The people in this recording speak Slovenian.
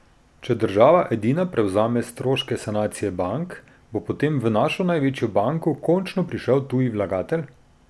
Če država edina prevzame stroške sanacije bank, bo potem v našo največjo banko končno prišel tuji vlagatelj?